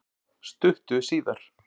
Stuttu síðar